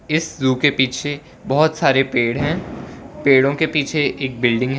इस ज़ू के पीछे बहोत सारे पेड़ है पेड़ो के पीछे एक बिल्डिंग है।